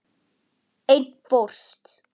Einn fórst.